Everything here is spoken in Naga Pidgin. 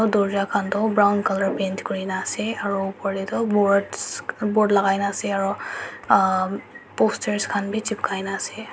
tura khan tu brown colour paint koro kine ase aru upor teh tu boards board logai kena ase aru poster khan bhi chapkai na ase.